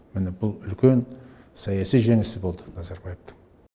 міне бұл үлкен саяси жеңісі болды назарбаевтың